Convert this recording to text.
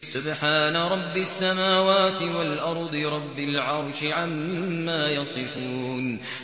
سُبْحَانَ رَبِّ السَّمَاوَاتِ وَالْأَرْضِ رَبِّ الْعَرْشِ عَمَّا يَصِفُونَ